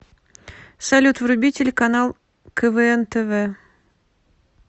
салют вруби телеканал квн тв